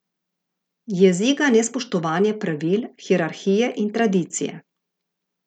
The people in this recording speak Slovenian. Jezi ga nespoštovanje pravil, hierarhije in tradicije.